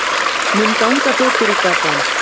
Mun ganga betur í Gabon?